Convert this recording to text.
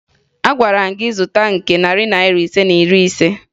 Agwara m gị zụta nke narị Naira ise na iri ise!